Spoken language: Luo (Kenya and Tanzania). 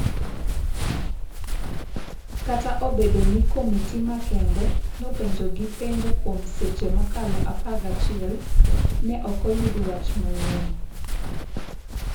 Kata obedo ni komiti makende nopenjogi penjo kuom seche mokalo 11, ne ok oyud wach manyien.